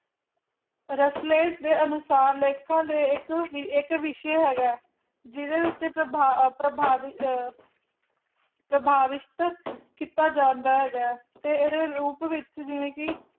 ਰੱਖ ਲਏ ਇਸ ਦੇ ਅਨੁਸਾਰ ਲੇਖਕਾਂ ਦੇ ਲੇਖ ਦੇ ਵਿੱਚ ਇੱਕ ਵਿਸ਼ੇ ਹੈਗਾ ਜਿਹਦੇ ਵਿੱਚ ਪ੍ਰਭਾਵਿਤ ਕੀਤਾ ਜਾਂਦਾ ਹੈ ਤੇ ਇਹਦੇ ਰੂਪ ਵਿਚ ਜਿਵੇਂ ਕਿ